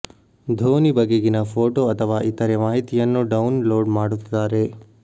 ಧೋನಿ ಬಗೆಗಿನ ಫೊಟೋ ಅಥವಾ ಇತರೆ ಮಾಹಿತಿಯನ್ನು ಡೌನ್ ಲೋಡ್ ಮಾಡುತ್ತಾರೆ